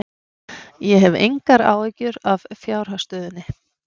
Ég hef engar áhyggjur af fjárhagsstöðunni.